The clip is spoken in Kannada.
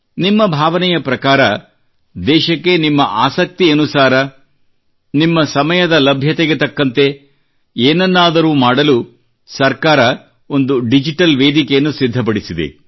ನಿಮ್ಮ ಭಾವನೆಯ ಪ್ರಕಾರ ದೇಶಕ್ಕೆ ನಿಮ್ಮ ಆಸಕ್ತಿಯನುಸಾರ ನಿಮ್ಮ ಸಮಯದ ಲಭ್ಯತೆಗೆ ತಕ್ಕಂತೆ ಏನನ್ನಾದರೂ ಮಾಡಲು ಸರ್ಕಾರವು ಒಂದು ಡಿಜಿಟಲ್ ವೇದಿಕೆಯನ್ನು ಸಿದ್ಧಪಡಿಸಿದೆ